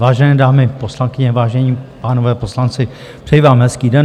Vážené dámy poslankyně, vážení pánové poslanci, přeji vám hezký den.